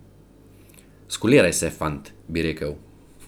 Skuliraj se, fant, bi rekel.